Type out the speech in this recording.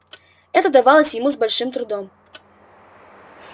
это давалось ему с большим трудом